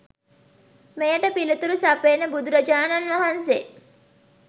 මෙයට පිළිතුරු සපයන බුදුරජාණන් වහන්සේ